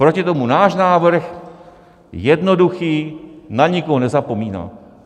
Proti tomu náš návrh - jednoduchý, na nikoho nezapomíná.